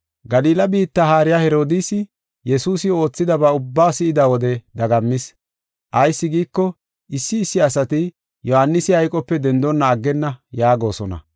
Galila biitta haariya Herodiisi Yesuusi oothidaba ubbaa si7ida wode dagammis. Ayis giiko, issi issi asati Yohaanisi hayqope dendonna aggenna yaagosona.